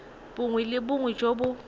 bongwe le bongwe jo bo